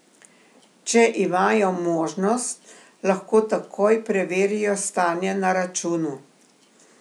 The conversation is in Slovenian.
Če imajo možnost, lahko takoj preverijo stanje na računu.